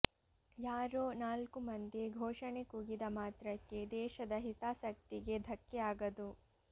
ಯಾರೋ ನಾಲ್ಕು ಮಂದಿ ಘೋಷಣೆ ಕೂಗಿದ ಮಾತ್ರಕ್ಕೆ ದೇಶದ ಹಿತಾಸಕ್ತಿಗೆ ಧಕ್ಕೆ ಆಗದು